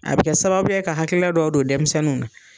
A bɛ kɛ sababuya ye ka hakilila dɔw don denmisɛnninw na.